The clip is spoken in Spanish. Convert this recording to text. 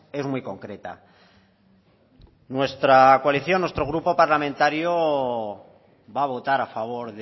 es muy concreta nuestra coalición nuestro grupo parlamentario va a votar a favor